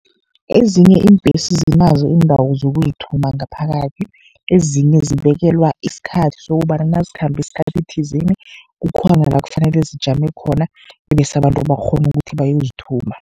Ezinye iimbhesi zinazo iindawo zokuzithuma ngaphakathi. Ezinye zibekelwa isikhathi sokobana nazikhambe isikhathi thizeni, kukhona la kufanele zijame khona, bese abantu bakghone ukuthi bayozithuma.